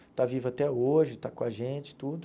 Está vivo até hoje, está com a gente e tudo.